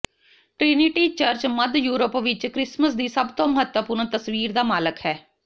Trinity church ਮੱਧ Europe ਵਿੱਚ Christmas ਦੀ ਸਭ ਤੋਂ ਮਹੱਤਵਪੂਰਣ ਤਸਵੀਰ ਦਾ ਮਾਲਕ ਹੈ